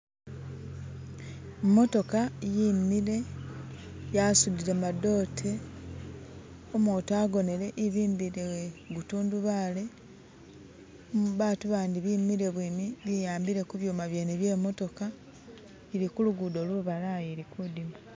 Imotoka yimile yasudile madoote umutu agonele evimbile gu tundubaale ni babatu bandi bimile bwimi biyambile kubyuma byeene bye motoka ilikulugudo lubalayi ilikudima